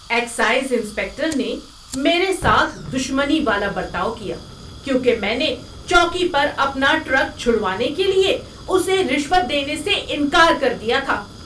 Excise inspector نے میرے ساتھ دشمنی والا برتاؤ کیا کیونکہ میں نے چوکی پر اپنا ٹرک چھڑوانے کے لیے اسے رشوت دینے سے انکار کر دیا تھا۔